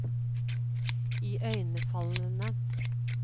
iøynefallende